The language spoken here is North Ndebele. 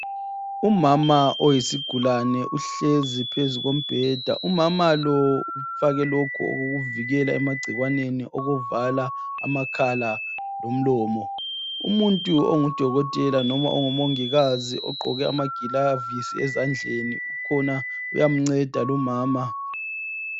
Umama oyisigulane uhlezi phezu kombheda. Umama lo ufake lokhu okuvikela emagcikwaneni okuvala amakhala lomlomo. Umuntu ongu Dokotela loba ongu Mongikazi ogqoke amagilavi ezandleni ukhona uyamnceda lumama.